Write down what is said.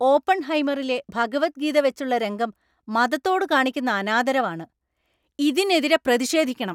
ഓപ്പൺഹൈമറിലെ ഭഗവദ്ഗീത വെച്ചുള്ള രംഗം മതത്തോട് കാണിക്കുന്ന അനാദരവ് ആണ്. ഇതിനെതിരെ പ്രതിഷേധിക്കണം.